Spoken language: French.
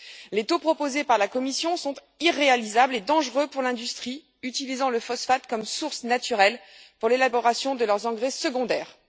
Les taux proposés par la Commission sont irréalisables et dangereux pour l'industrie utilisant le phosphate comme source naturelle pour l'élaboration de ses engrais secondaires.